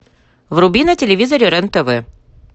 вруби на телевизоре рен тв